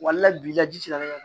bi laji ti se ka ne ka